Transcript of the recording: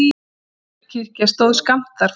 Timburkirkja stóð skammt þar frá.